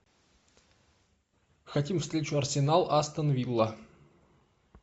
хотим встречу арсенал астон вилла